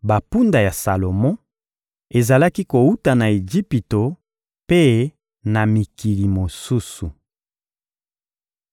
Bampunda ya Salomo ezalaki kowuta na Ejipito mpe na mikili mosusu. (1Ba 11.41-43)